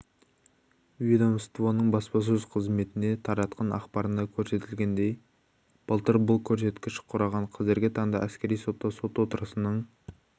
ведомствоның баспасөз қызметінде таратқан ақпарында көрсетілгендей былтыр бұл көрсеткіш құраған қазіргі таңда әскери сотта сот отырысының